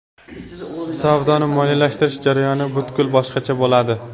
Savdoni moliyalashtirish jarayoni butkul boshqacha bo‘ladi.